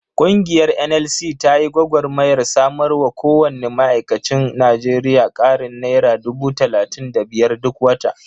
Ƙungiyar NLC ta yi gwagarmayar samarwa kowanne ma'aikacin Najeriya ƙarin naira dubu talatin da biyar duk wata.